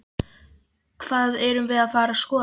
Hvað erum við að fara að skoða?